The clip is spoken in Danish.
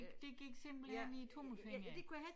Det gik simpelthen i æ tommelfinger